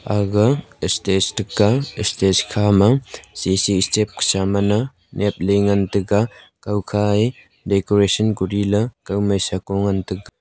agaga stage tega stage khama C_C steps khusa mana nyepley ngan taiga.